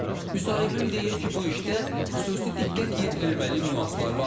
Müsahibim deyir ki, bu işdə xüsusi diqqət yetirilməli nüanslar var.